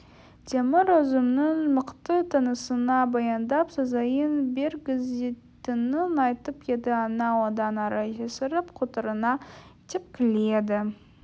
темір өзінің мықты танысына баяндап сазайын бергізетінін айтып еді анау одан ары есіріп құтырына тепкіледі